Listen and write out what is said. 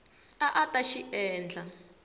a a ta xi endla